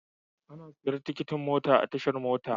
Ana siyan tikitin mota a tashar mota.